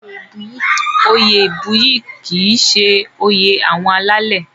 Oyè ìbuyì kì í ṣe oyè àwọn alálẹ̀.